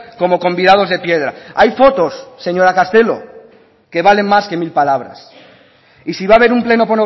como convidados de piedra hay fotos señora castelo que valen más que mil palabras y si va a haber un pleno